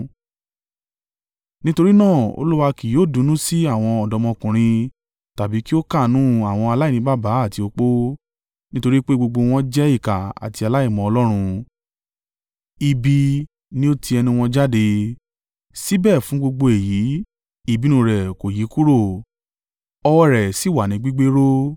Nítorí náà, Olúwa kì yóò dunnú sí àwọn ọ̀dọ́mọkùnrin tàbí kí ó káàánú àwọn aláìní baba àti opó, nítorí pé gbogbo wọn jẹ́ ìkà àti aláìmọ Ọlọ́run, ibi ni ó ti ẹnu wọn jáde. Síbẹ̀, fún gbogbo èyí, ìbínú rẹ̀ kò yí kúrò ọwọ́ rẹ̀ sì wà ní gbígbéró.